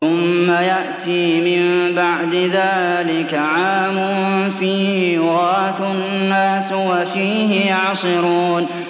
ثُمَّ يَأْتِي مِن بَعْدِ ذَٰلِكَ عَامٌ فِيهِ يُغَاثُ النَّاسُ وَفِيهِ يَعْصِرُونَ